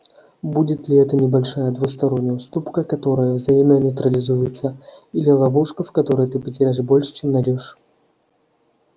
будет ли это небольшая двусторонняя уступка которая взаимно нейтрализуется или ловушка в которой ты потеряешь больше чем найдёшь